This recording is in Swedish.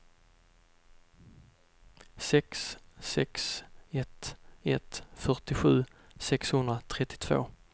sex sex ett ett fyrtiosju sexhundratrettiotvå